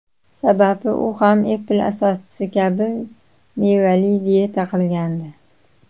Sababi u ham Apple asoschisi kabi mevali diyeta qilgandi.